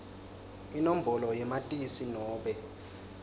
inombolo yamatisi nobe